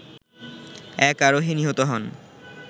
এক আরোহী নিহত হন